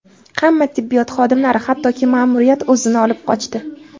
Hamma tibbiyot xodimlari, hattoki ma’muriyat o‘zini olib qochdi.